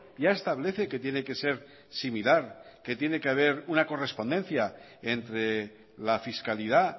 ya establece que tiene que ser similar que tiene que haber una correspondencia entre la fiscalidad